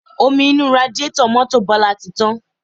Omi inú radiátọ̀ mọ́tò Bọlá ti tán